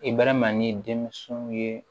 I bɛrɛma ni denmisɛnw ye